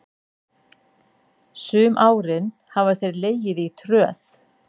Sum árin hafa þeir legið í tröð.